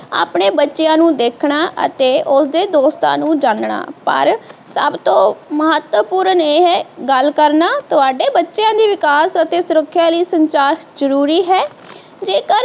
ਆਪਣੇ ਬੱਚਿਆ ਨੂੰ ਦੇਖਣਾ ਅਤੇ ਉਸਦੇ ਦੋਸਤਾਂ ਨੂੰ ਜਾਨਣਾ ਪਰ ਸੱਬ ਤੋਂ ਮਹੱਤਵਪੂਰਨ ਇਹ ਹੈ ਗੱਲ ਕਰਨਾ ਤੁਹਾਡੇ ਬੱਚਿਆ ਦੇ ਵਿਕਾਸ ਅਤੇ ਸੁਰੱਖਿਆ ਲਈ ਸੰਚਾਰ ਜਰੂਰੀ ਹੈ